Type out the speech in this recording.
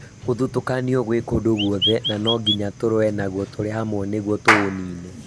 Gũthutũkanio gwĩ kũndũ gwothe, na nonginya tũrũe naguo turĩhamwe nĩguo tũũnine